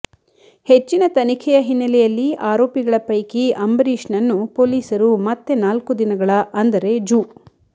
ಹೆಚ್ಚಿನ ತನಿಖೆಯ ಹಿನ್ನೆಲೆಯಲ್ಲಿ ಆರೋಪಿಗಳ ಪೈಕಿ ಅಂಬರೀಶ್ನನ್ನು ಪೊಲೀಸರು ಮತ್ತೆ ನಾಲ್ಕು ದಿನಗಳ ಅಂದರೆ ಜು